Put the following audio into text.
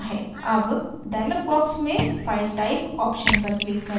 अब dialog box में file type option पर click करें